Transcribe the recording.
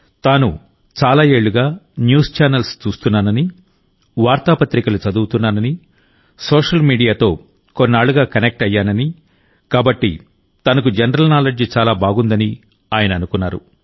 తాను చాలా ఏళ్లుగా న్యూస్ ఛానల్స్ చూస్తున్నానని వార్తాపత్రికలు చదువుతున్నానని సోషల్ మీడియాతో కొన్నాళ్లుగా కనెక్ట్ అయ్యానని కాబట్టి తనకు జనరల్ నాలెడ్జ్ చాలా బాగుందని ఆయన అనుకున్నారు